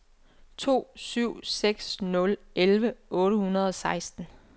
to syv seks nul elleve otte hundrede og seksten